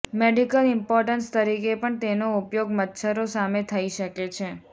medical importance તરીકે પણ તેનો ઉપયોગ મચ્છરો સામે થઇ શકે છે